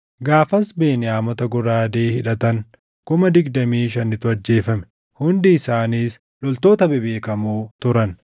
Gaafas Beniyaamota goraadee hidhatan kuma digdamii shanitu ajjeefame; hundi isaaniis loltoota bebeekamoo turan.